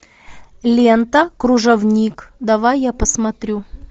лента кружовник давай я посмотрю